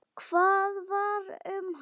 Hvað varð um hana?